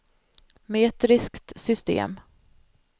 metriskt system